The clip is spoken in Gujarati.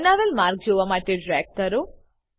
બનાવેલ માર્ગ જોવા માટે ડ્રેગ કરો